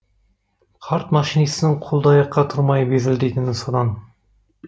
қарт машинистің қолды аяққа тұрмай безілдейтіні содан